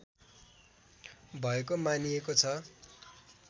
भएको मानिएको छ